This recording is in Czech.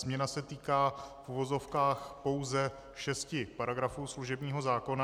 Změna se týká v uvozovkách pouze šesti paragrafů služebního zákona.